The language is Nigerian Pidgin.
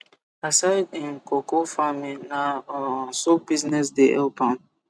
aside him coco farming na um soap business de help am